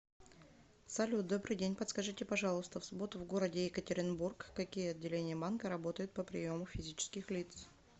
салют добрый день подскажите пожалуйста в субботу в городе екатеринбург какие отделение банка работают по приему физических лиц